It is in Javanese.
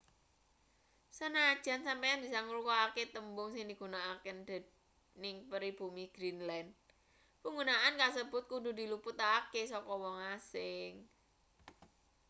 sanajan sampeyan bisa ngrungokake tembung sing digunakake dening pribumi greenland panggunaan kasebut kudu diluputake saka wong asing